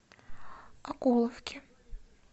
окуловке